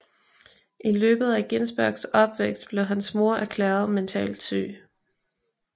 I løbet af Ginsbergs opvækst blev hans mor erklæret mentalt syg